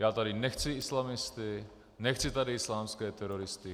Já tady nechci islamisty, nechci tady islámské teroristy.